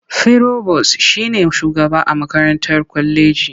Firobos shi ne shugaba a makarantar kwaleji.